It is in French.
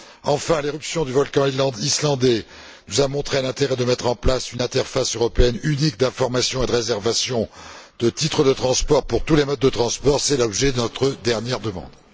Enfin, l'éruption du volcan islandais nous a montré l'intérêt de mettre en place une interface européenne unique d'information et de réservation de titres de transport pour tous les modes de transport, et c'est l'objet de notre dernière demande.